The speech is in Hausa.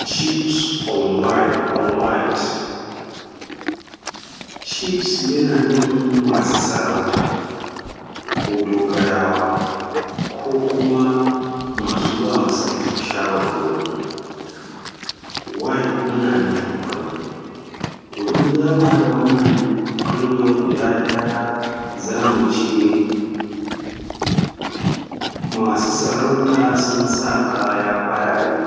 Chiefs on while on white, chiefs yana nufin maa su sarauta ko dogarawa ko kuma maa su baama sarki shawarwari, white kuma na nufin fari. To in zamu haɗa wannan kalmar guda ɗaya za mu ce maasu sarauta sun sa kaya farare